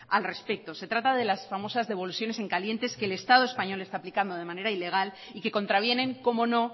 al respecto se trata de las famosas devoluciones en caliente que el estado español está aplicando de manera ilegal y que contravienen cómo no